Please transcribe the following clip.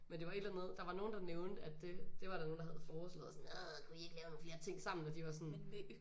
Men det var et eller andet der var nogen der nævnte at det det var der nogen der havde foreslået og sådan arrr kunne I ikke lave nogle flere ting sammen og de var sådan